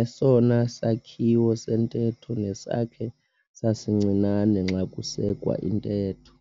esona sakhiwo sentetho nesakhe sasincinane xa kusekwa intetho.